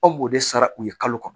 Anw b'o de sara u ye kalo kɔnɔ